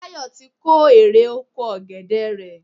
Táyọ̀ ti kó erè oko ọ̀gẹ̀dè rẹ̀.